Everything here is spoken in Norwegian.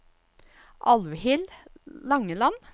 Alvhild Langeland